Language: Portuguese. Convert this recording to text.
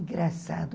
Engraçado.